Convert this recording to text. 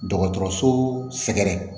Dɔgɔtɔrɔso sɛgɛrɛ